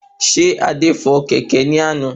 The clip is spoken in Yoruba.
Ṣé Adé fò kẹ̀kẹ́ ní àná?